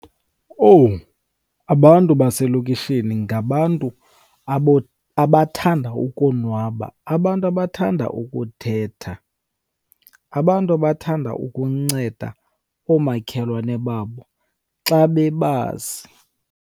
Owu! Abantu baselokishini ngabantu abathanda ukonwaba, abantu abathanda ukuthetha, abantu abathanda ukunceda oomakhelwane babo xa bebazi.